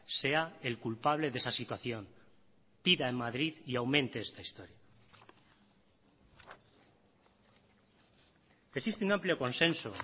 sea el culpable de esa situación pida en madrid y aumente esta historia existe un amplio consenso